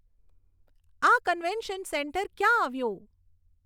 આ convention centre ક્યાં આવ્યું